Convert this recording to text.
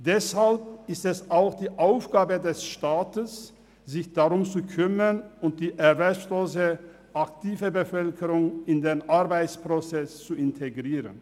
Deshalb ist es auch die Aufgabe des Staats, sich darum zu kümmern und die erwerbslose aktive Bevölkerung in den Arbeitsprozess zu integrieren.